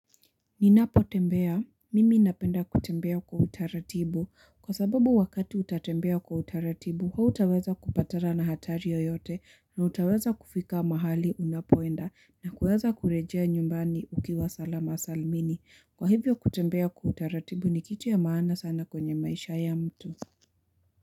Ninapotembea. Mimi napenda kutembea kwa utaratibu. Kwa sababu wakati utatembea kwa utaratibu, hutaweza kupatana na hatari yoyote na utaweza kufika mahali unapoenda na kuweza kurejea nyumbani ukiwa salama salmini. Kwa hivyo kutembea kwa utaratibu ni kitu ya maana sana kwenye maisha ya mtu.